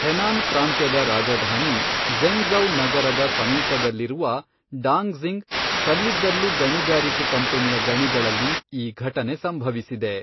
Henan ಪ್ರಾಂತ್ಯದ ರಾಜಧಾನಿ Zhengzhou ನಗರದ ಸಮೀಪದಲ್ಲಿರುವ ಡಾಂಗ್ಸಿಂಗ್ ಕಲ್ಲಿದ್ದಲು ಗಣಿಗಾರಿಕೆ ಕಂಪನಿಯ ಗಣಿಗಳಲ್ಲಿ ಈ ಘಟನೆ ಸಂಭವಿಸಿದೆ.